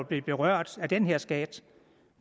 blive berørt af den her skat